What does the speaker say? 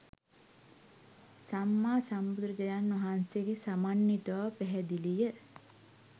සම්මාසම්බුදු රජාණන් වහන්සේ සමන්විත බව පැහැදිලිය